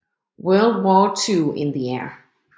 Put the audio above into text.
World War II in the Air